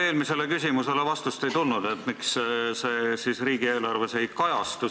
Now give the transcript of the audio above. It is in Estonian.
Eelmisele küsimusele vastust ei tulnud ja me ei tea, miks see siis riigieelarves ei kajastu.